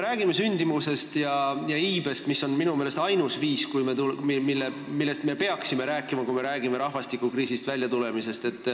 Sündimus ja iive on minu meelest ainsad asjad, millest me peaksime rääkima, kui me räägime rahvastikukriisist väljatulemisest.